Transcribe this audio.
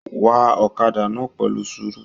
Wá ọ̀kàdà náà pẹlu sùúrù.